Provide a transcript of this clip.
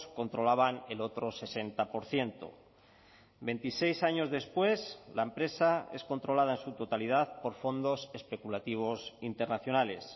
controlaban el otro sesenta por ciento veintiseis años después la empresa es controlada en su totalidad por fondos especulativos internacionales